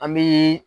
An bi